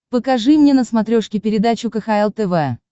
покажи мне на смотрешке передачу кхл тв